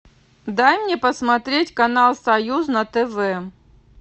дай мне посмотреть канал союз на тв